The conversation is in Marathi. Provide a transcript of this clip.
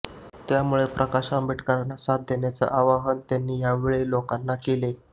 त्यामुळे प्रकाश आंबेडकरांना साथ देण्याचं आवाहन त्यांनी यावेळी लोकांना केलं